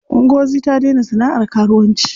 Ngozi ta daina sana'ar karuwanci.